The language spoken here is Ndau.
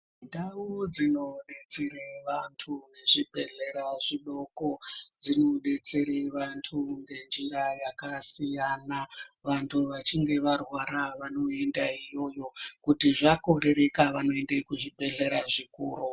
Ndau dzinodetsere vantu zvibhehlera zvidoko zvinodetsere vantu ngenjira yakasiyana vantu vachinge varwara vanoenda iyoyo kuti zvakorereka vanoenda kuzvibhehlera zvikuru.